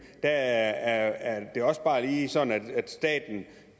der er det også bare lige sådan at staten